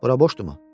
Bura boşdurmu?